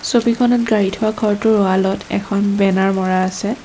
ছবিখনত গাড়ী ধোঁৱা ঘৰটোৰ ৱালত এখন বেনাৰ মৰা আছে।